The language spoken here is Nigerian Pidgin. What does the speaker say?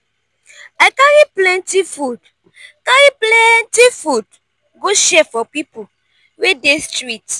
i carry plenty food carry plenty food go share for pipo wey dey street.